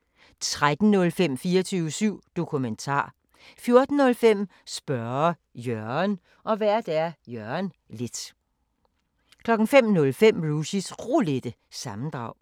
10:05: Rushys Roulette 11:05: Rushys Roulette, fortsat 13:05: 24syv Dokumentar 14:05: Spørge Jørgen Vært: Jørgen Leth 05:05: Rushys Roulette – sammendrag